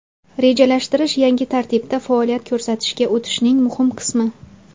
Rejalashtirish yangi tartibda faoliyat ko‘rsatishga o‘tishning muhim qismi.